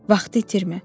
Vaxtı itirmə.